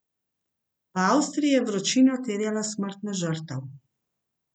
V Avstriji je vročina terjala smrtno žrtev.